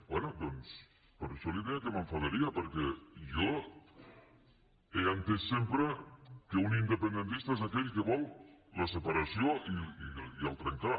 bé doncs per això li deia que m’enfadaria perquè jo he entès sempre que un independentista és aquell que vol la separació i trencar